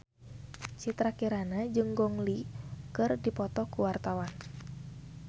Citra Kirana jeung Gong Li keur dipoto ku wartawan